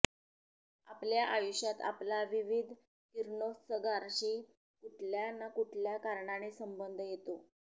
आपल्या आयुष्यात आपला विविध किरणोत्सर्गाशी कुठल्या ना कुठल्या कारणाने संबंध येतो